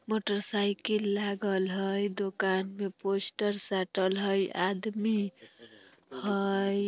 मोटरसाइकिल लागल हय दुकान में पोस्टर साटल हय आदमी हई।